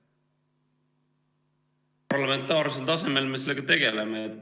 Parlamentaarsel tasemel me sellega tegeleme.